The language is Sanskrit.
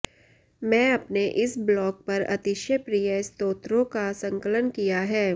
मैं अपने इस ब्लॉग पर अतिशय प्रिय स्तोत्रों का संकलन किया है